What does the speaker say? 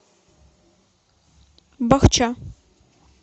бахча